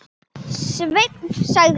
Sveinn sagði.